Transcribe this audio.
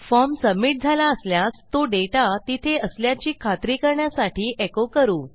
form submit झाला असल्यास तो डेटा तिथे असल्याची खात्री करण्यासाठी एको करू